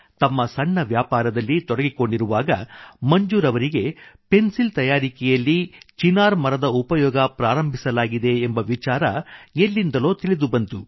ತಮ್ಮ ಸಣ್ಣ ವ್ಯಾಪಾರದಲ್ಲಿ ತೊಡಗಿಕೊಂಡಿರುವಾಗ ಮಂಜೂರ್ ಅವರಿಗೆ ಪೆನ್ಸಿಲ್ ತಯಾರಿಕೆಯಲ್ಲಿ ಚಿನಾರ್ ಮರದ ಉಪಯೋಗ ಪ್ರಾರಂಭಿಸಲಾಗಿದೆ ಎಂಬ ವಿಚಾರ ಎಲ್ಲಿಂದಲೋ ತಿಳಿದು ಬಂತು